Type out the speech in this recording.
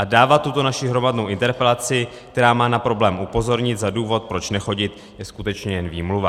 A dávat tuto naši hromadnou interpelaci, která má na problém upozornit, za důvod, proč nechodit, je skutečně jen výmluva.